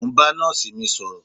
Mo ń ba nọ́ọ̀sì mi sọ̀rọ̀